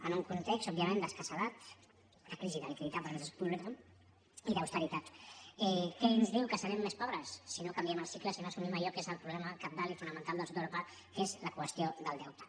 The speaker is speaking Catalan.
en un context òbviament d’escassedat la crisi de liquiditat per a polítiques públiques i d’austeritat què ens diu que serem més pobres si no canviem el cicle si no assumim allò que és el problema cabdal i fonamental del sud d’europa que és la qüestió del deute